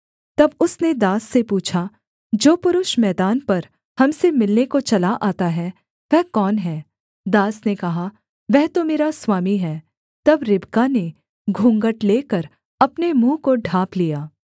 तब उसने दास से पूछा जो पुरुष मैदान पर हम से मिलने को चला आता है वह कौन है दास ने कहा वह तो मेरा स्वामी है तब रिबका ने घूँघट लेकर अपने मुँह को ढाँप लिया